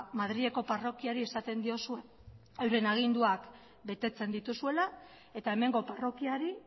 madrileko parrokiari esaten diozue euren aginduak betetzen dituzuela eta hemengo parrokiari